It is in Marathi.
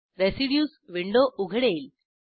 रेसिड्यूज विंडो उघडेल